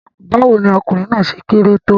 Báwo ni ọkùnrin náà ṣe kéré tó?